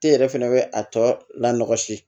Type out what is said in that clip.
E yɛrɛ fɛnɛ bɛ a tɔ laɔsi